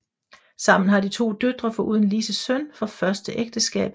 Sammen har de to døtre foruden Lises søn fra første ægteskab